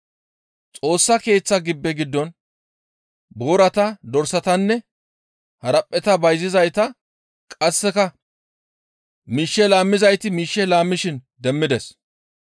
Xoossa Keeththa gibbe giddon boorata, dorsatanne haraphpheta bayzizayta qasseka miishshe laammizayti miishshe laammishin demmides.